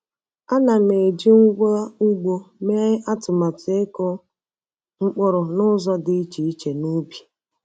Ana m eji ngwa ugbo mee atụmatụ ịkụ mkpụrụ n'ụzọ dị iche iche n’ubi.